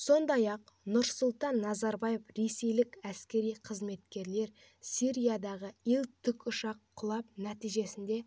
сондай-ақ нұрсұлтан назарбаев ресейлік әскери қызметкерлер сириядағы ил тікұшағы құлап нәтижесінде